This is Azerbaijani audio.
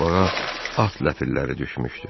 Torpağa at ləpirləri düşmüşdü.